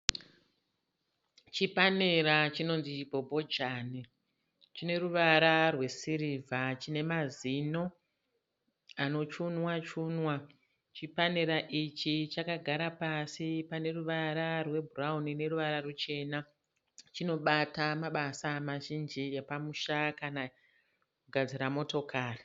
Chipanera chinonzi bhobhojani chine ruvara rwesirivha chine mazino anochunwa chunwa, chipanera ichi chakagara pasi pane ruvara rwebhurawuni neruvara ruchena, chinobata mabasa mazhinji epamusha kana kugadzira motokari.